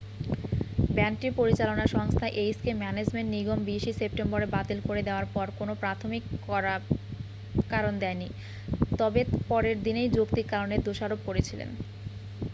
ব্যান্ডটির পরিচালনা সংস্থা HK Management নিগম 20'ই সেপ্টেম্বর বাতিল করে দেওয়ার পর কোনও প্রাথমিক কারণ দেয়নি তবে পরের দিনেই যৌক্তিক কারণের দোষারপ করেছিলেন।